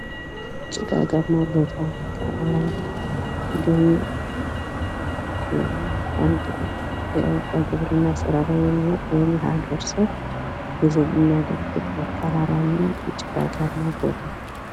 ጭጋጋማ ቦታ፣ ተራራማ ቦታ እንዲሁም አንድ ሰው ጉዞ እያደረገ ይታያል።